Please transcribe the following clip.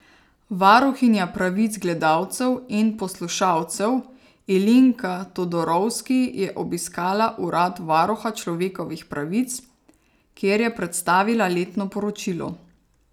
Varuhinja pravic gledalcev in poslušalcev Ilinka Todorovski je obiskala urad Varuha človekovih pravic, kjer je predstavila letno poročilo.